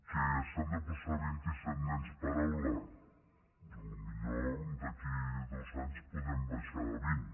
que s’han de posar vint i set nens per aula potser d’aquí a dos anys podrem baixar a vint